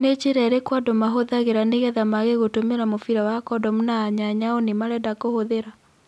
Nĩ njĩra ĩrĩku andũ mahuthagĩra nĩgetha mage gũtumira Mubira wa Kodomu na anyanyao nĩmarenda gũtumira.